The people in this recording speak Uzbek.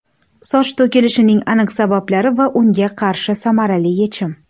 Soch to‘kilishining aniq sabablari va unga qarshi samarali yechim!.